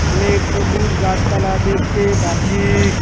অনেক সবুজ গাছপালা দেখতে পারছি।